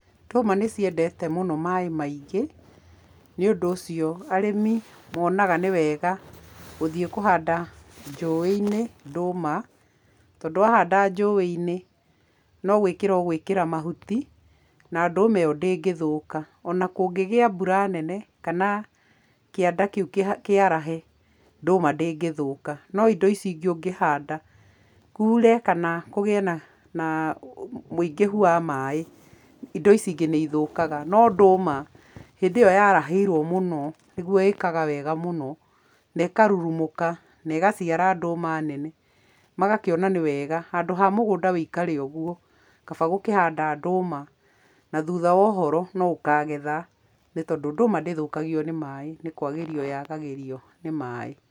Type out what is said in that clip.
Ndũma nĩciendete mũno maaĩ maingĩ, nĩ ũndũ ũcio arĩmi monaga nĩ wega gũthiĩ kũhanda njũĩ-inĩ ndũma tondũ wahanda njũĩ-inĩ no gwĩkĩra ũgũĩkĩra mahuti na ndũma ĩyo ndĩngĩthũka ona kũngĩgĩa mbura nene kana kĩanda kĩu kĩarahe ndũma ndĩngĩthũka no indo ici ingĩ ũngĩhanda kure kana kũgĩe na ũingĩhu wa maaĩ indo icingĩ nĩ nĩithũkaga no ndũma hĩndĩ ĩyo yarahĩirwo mũno nĩguo ĩkaga wega muno na ĩkarurumũka na ĩgaciara ndũma nene, magakĩona nĩ wega handũ ha mũgũnda wũikare ũguo kaba gũkĩhanda ndũma na thutha wa ũhoro no ũkagetha nĩ tondũ ndũma ndĩthũkagio nĩ maaĩ nĩ kwagĩrio yagagĩrio nĩ maaĩ.